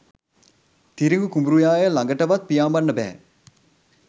තිරිඟු කුඹුරුයාය ළඟටවත් පියාඹන්න බැහැ.